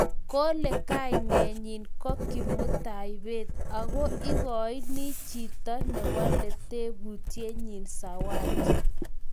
Kole kainenyi ko Kimutai Bett ak ikoini chito newale tebutienyi sawati